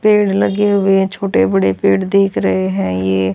पेड़ लगे हुए छोटे बड़े पेड़ देख रहे हैं ये।